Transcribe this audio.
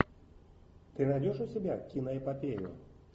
ты найдешь у себя киноэпопею